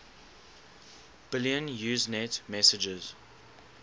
billion usenet messages